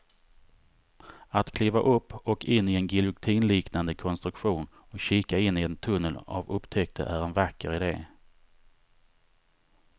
Att kliva upp och in i en giljotinliknande konstruktion och kika in i en tunnel av upptäckter är en vacker idé.